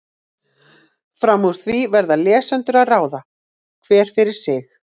Fram úr því verða lesendur að ráða, hver fyrir sig.